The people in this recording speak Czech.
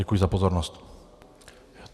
Děkuji za pozornost.